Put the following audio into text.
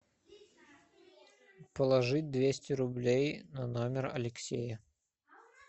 положить двести рублей на номер алексея